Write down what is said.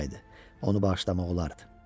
Onu bağışlamaq olardı.